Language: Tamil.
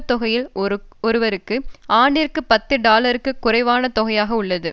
தொகையில் ஒருவருக்கு ஆண்டிற்கு பத்து டாலருக்கும் குறைவான தொகையாக உள்ளது